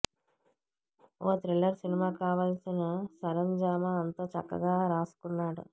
ఓ thriller సినిమాకు కావాల్సిన సరంజామా అంతా చక్కగా రాసుకున్నాడు